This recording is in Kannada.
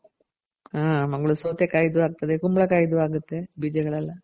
ಹಾ ಮಂಗಳೂರು ಸೌತೆ ಕಾಯ್ದು ಆಗ್ತದೆ. ಕುಂಬಳ ಕಾಯ್ದು ಆಗುತ್ತೆ ಬೀಜಗಳೆಲ್ಲ